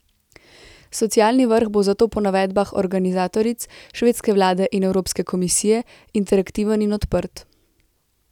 Socialni vrh bo zato po navedbah organizatoric, švedske vlade in Evropske komisije, interaktiven in odprt.